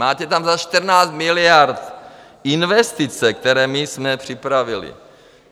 Máte tam za 14 miliard investice, které my jsme připravili.